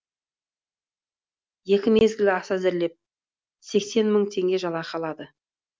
екі мезгіл ас әзірлеп сексен мың теңге жалақы алады